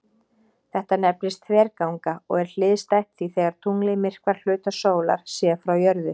Þetta nefnist þverganga og er hliðstætt því þegar tunglið myrkvar hluta sólar séð frá jörðu.